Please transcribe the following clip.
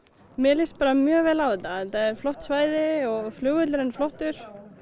mér líst bara mjög vel á þetta þetta er flott svæði og flugvöllurinn flottur